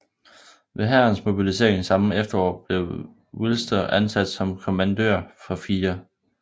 Ved Hærens mobilisering samme efterår blev Wilster ansat som kommandør for 4